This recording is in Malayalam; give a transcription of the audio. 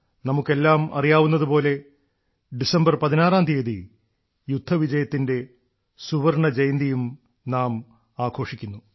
നമുക്കെല്ലാം അറിയാവുന്നതുപോലെ ഡിസംബർ പതിനാറാം തീയതി യുദ്ധവിജയത്തിന്റെ സുവർണ്ണ ജയന്തിയും നാം ആഘോഷിക്കുന്നു